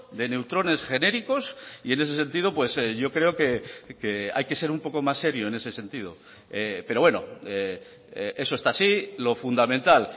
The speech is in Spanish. de neutrones genéricos y en ese sentido yo creo que hay que ser un poco más serio en ese sentido pero bueno eso está así lo fundamental